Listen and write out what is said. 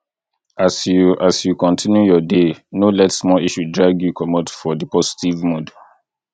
as you as you continue your day no let small issue drag you comot for di positve mood